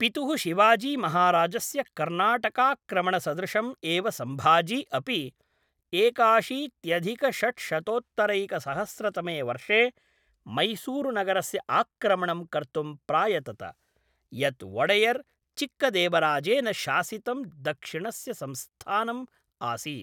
पितुः शिवाजीमहाराजस्य कर्नाटकाक्रमणसदृशम् एव सम्भाजी अपि एकाशीत्यधिकषड्शत्तोत्तरैकसहस्रतमे वर्षे मैसूरुनगरस्य आक्रमणं कर्तुं प्रायतत, यत् वोडेयर् चिक्कादेवराजेन शासितं दक्षिणस्य संस्थानम् आसीत्।